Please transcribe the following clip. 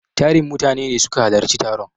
Tarin mutane ne suka halarci taron.